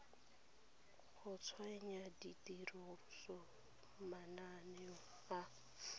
go tsenya tirisong mananeo a